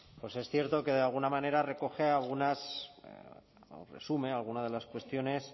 es cierto que de alguna manera recoge algunas o resume algunas de las cuestiones